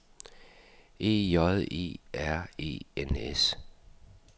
E J E R E N S